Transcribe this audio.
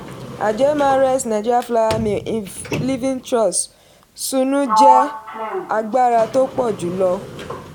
àjọ mrs nig flour mill livingtrust sunu jẹ́ agbára tó pọ̀ jùlọ.